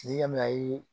N'i y'a mɛn ayi